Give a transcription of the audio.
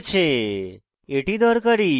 এটি দরকারী